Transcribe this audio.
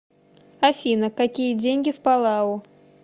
афина какие деньги в палау